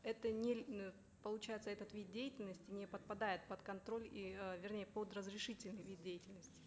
это не э получается этот вид деятельности не подпадает под контроль и э вернее под разрешительный вид деятельности